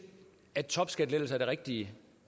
at topskattelettelser er det rigtige